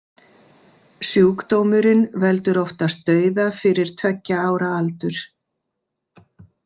Sjúkdómurinn veldur oftast dauða fyrir tveggja ára aldur.